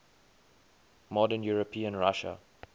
modern european russia